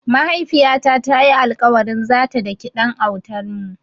Mahaifiyata ta yi alƙawarin zata daki ɗan autanmu.